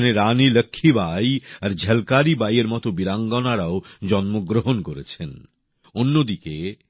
এখানে রানী লক্ষ্মীবাঈ আর ঝলকারি বাঈএর মত বীরাঙ্গনারাও জন্মগ্রহণ করেছেন অন্যদিকে এই অঞ্চল